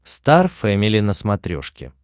стар фэмили на смотрешке